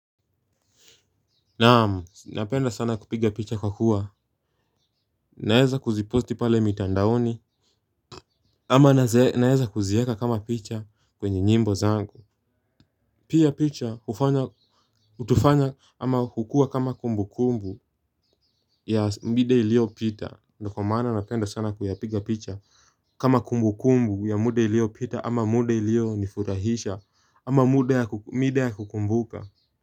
Naam napenda sana kupiga picha kwa kuwa naeza kuziposi pale mitandaoni ama naeza kuzieka kama picha kwenye nyimbo zangu. Pia picha hutufanya ama hukua kama kumbu kumbu ya mida iliyo pita ndio kwa maana napenda sana kuyapiga picha. Kama kumbu kumbu ya muda ilioyopita ama muda iliyo nifurahisha ama mida ya kukumbuka.